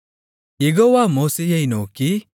யெகோவா மோசேயை நோக்கி